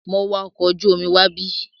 Mo wa ọkọ̀ ojú omi wábí.